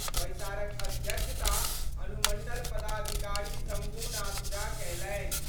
बैसारक अध्यक्षता अनुमंडल पदाधिकारी शंभूनाथ झा कयलनि।